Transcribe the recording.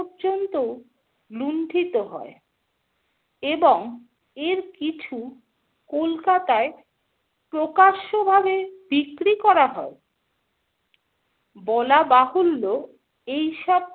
পর্যন্ত লুণ্ঠিত হয় এবং এর কিছু কলকাতায় প্রকাশ্যভাবে বিক্রি করা হয় । বলাবাহুল্য এই সব